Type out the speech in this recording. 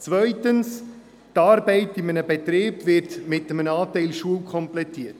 zweitens wird die Arbeit in einem Betrieb mit einem Anteil Schule komplettiert.